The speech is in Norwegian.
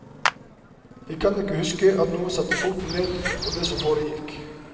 Jeg kan ikke huske at noen satte foten ned for det som foregikk.